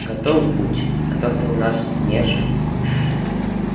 готов будь а то ты у нас нежный